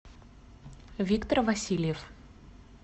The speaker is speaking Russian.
виктор васильев